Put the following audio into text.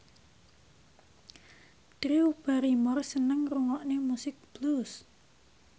Drew Barrymore seneng ngrungokne musik blues